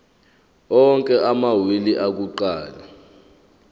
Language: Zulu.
onke amawili akuqala